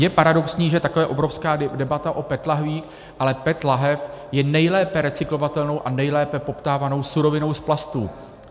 Je paradoxní, že takhle obrovská debata o PET lahvích, ale PET lahev je nejlépe recyklovatelnou a nejlépe poptávanou surovinou z plastů.